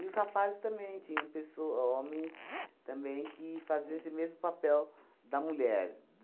E os rapazes também tinham pesso ho homens também que faziam esse mesmo papel da mulher.